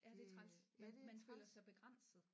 Ja det er træls at man føler sig begrænset